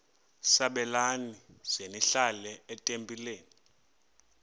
sabelani zenihlal etempileni